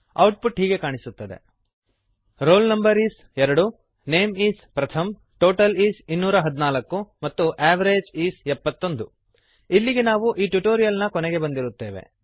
output ಹೀಗೆ ಕಾಣಿಸುತ್ತದೆ roll no is 2 name is Pratham total is 214 ಮತ್ತು ಅವೆರೇಜ್ is 71 ಇಲ್ಲಿಗೆ ನಾವು ಈ ಟ್ಯುಟೋರಿಯಲ್ ನ ಕೊನೆಗೆ ಬಂದಿರುತ್ತೇವೆ